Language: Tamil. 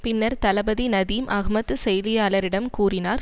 பின்னர் தளபதி நதீம் அஹ்மத் செய்தியாளரிடம் கூறினார்